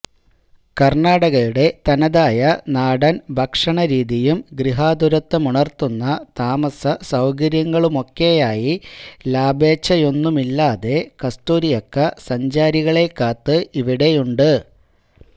കര്ണ്ണാടകയുടെ തനതായ നാടന് ഭക്ഷണരീതിയും ഗൃഹാതുരത്വമുണര്ത്തുന്ന താമസ സൌകര്യങ്ങളുമൊക്കെയായി ലാഭേശ്ചയൊന്നുമില്ലാതെ കസ്തൂരിയക്ക സഞ്ചാരികളെ കാത്ത് ഇവിടെയുണ്ട്